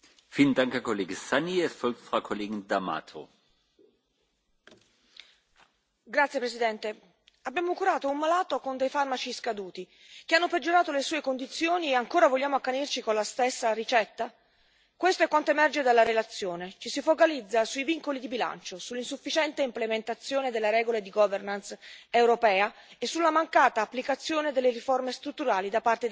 Signor Presidente, onorevoli colleghi, abbiamo curato un malato con farmaci scaduti che hanno peggiorato le sue condizioni e ancora vogliamo accanirci con la stessa ricetta? Questo è quanto emerge dalla relazione ci si focalizza sui vincoli di bilancio, sull'insufficiente implementazione delle regole di governance europea e sulla mancata applicazione delle riforme strutturali da parte dei paesi membri.